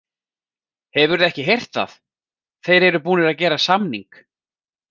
Hefurðu ekki heyrt það, þeir eru búnir að gera samning!